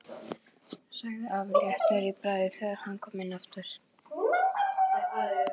sagði afi léttur í bragði þegar hann kom inn aftur.